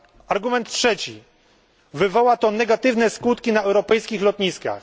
Argument trzeci wywoła to negatywne skutki na europejskich lotniskach.